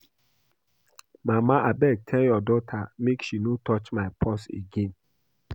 Mama abeg tell your daughter make she no touch my purse again